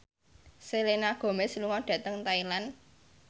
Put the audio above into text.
Selena Gomez lunga dhateng Thailand